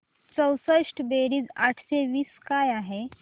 चौसष्ट बेरीज आठशे वीस काय आहे